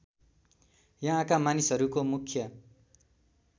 यहाँका मानिसहरूको मुख्य